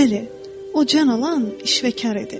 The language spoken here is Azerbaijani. Bəli, o can alan işvəkar idi.